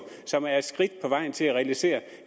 som er et skridt på vejen til at realisere